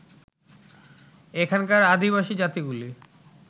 এখানকার আদিবাসী জাতিগুলি